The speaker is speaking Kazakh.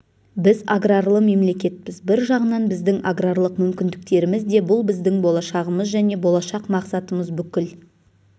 біз аграрлы мемлекетпіз бір жағынан біздің аграрлық мүмкіндіктеріміз де бұл біздің болашағымыз және болашақ мақсатымыз бүкіл